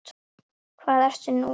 Hvað ertu nú að rugla!